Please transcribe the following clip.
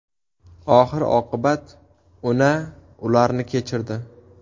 Oxir oqibat Una ularni kechirdi .